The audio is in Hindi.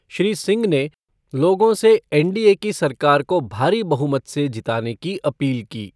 श्री सिंह ने लोगों से एनडीए की सरकार को भारी बहुमत से जीताने की अपील की।